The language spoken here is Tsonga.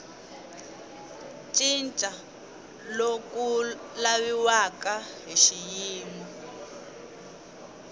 cinca loku laviwaka hi xiyimo